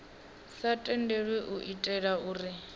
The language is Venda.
sa tendelwi u itela uri